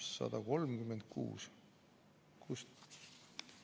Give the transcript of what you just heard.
136.